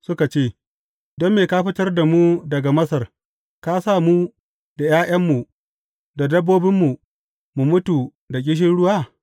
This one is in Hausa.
Suka ce, Don me ka fitar da mu daga Masar, ka sa mu da ’ya’yanmu da dabbobinmu, mu mutu da ƙishirwa?